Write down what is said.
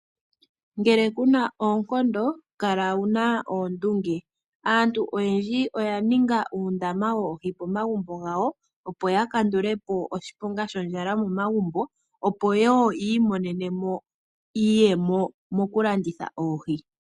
Ngele kuna oonkondo kala wuna oondunge. Aantu oyendji oya ninga uundama pomagumbo gawo opo ya kandule po oshiponga shondjala momagumbo. Opo wo ya imonene mo iiyemo mokulanditha oohi.